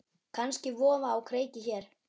Kannski vofa á kreiki hér.